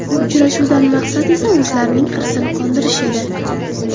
Uchrashuvdan maqsad esa o‘zlarining hirsini qondirish edi.